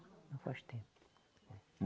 Não faz tempo.